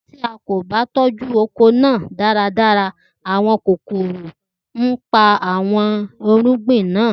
Ti a ko ba tọju oko naa daradara, awọn kokoro npa awọn irugbin na.